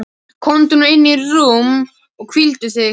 Komdu nú inn í rúm og hvíldu þig.